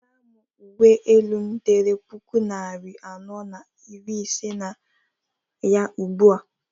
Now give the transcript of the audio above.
nweta m uwe elu m dere puku nari anọ na iri ise na ya ugbu a!